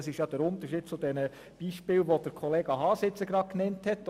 Das ist der Unterschied zu den Beispielen, die Grossrat Haas eben genannt hat.